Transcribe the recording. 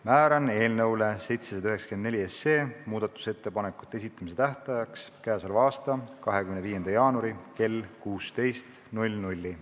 Määran eelnõu 794 muudatusettepanekute esitamise tähtajaks k.a 25. jaanuari kell 16.